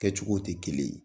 Kɛ cogo tɛ kelen ye.